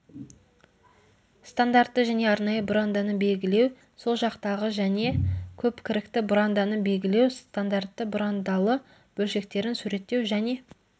стандартты және арнайы бұранданы белгілеу сол жақтағы және көпкірікті бұранданы белгілеу стандартты бұрандалы бөлшектерін суреттеу және